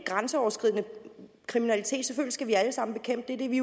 grænseoverskridende kriminalitet skal vi selvfølgelig alle sammen bekæmpe det er vi